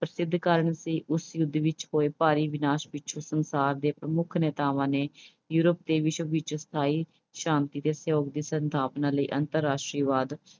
ਪ੍ਰਸਿੱਧ ਕਾਰਨ ਸੀ। ਉਸ ਯੁੱਧ ਵਿੱਚ ਹੋਏ ਭਾਰੀ ਵਿਨਾਸ਼ ਵਿੱਚ ਉਸ ਸੰਸਾਰ ਦੇ ਪ੍ਰਮੁੱਖ ਨੇਤਾਵਾਂ ਨੇ Euroe ਤੇ ਵਿਸ਼ਵ ਵਿੱਚ ਸਥਾਈ ਸ਼ਾਂਤੀ ਦੇ ਸਹਿਯੋਗ ਦੀ ਸਥਾਪਨਾ ਲਈ ਅੰਤਰਰਾਸ਼ਟਰਵਾਦ